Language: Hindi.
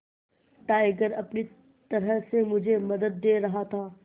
टाइगर अपनी तरह से मुझे मदद दे रहा था